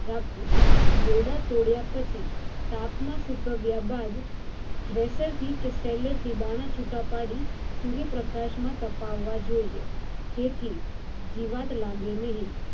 રાખવું દોડ તોડ્યા પછી તાપ માં સુકવ્યા બાદ thresher અથવા થી દોડ છુટા પડી સૂર્ય પ્રકાશ માં તપવા જોઈએ જેથી જીવત લાગે નહિ